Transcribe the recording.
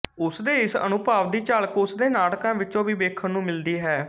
ਉਸ ਦੇ ਇਸ ਅਨੁਭਵ ਦੀ ਝਲਕ ਉਸਦੇ ਨਾਟਕਾਂ ਵਿਚੋਂ ਵੀ ਵੇਖਣ ਨੂੰ ਮਿਲਦੀ ਹੈ